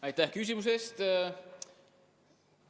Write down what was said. Aitäh küsimuse eest!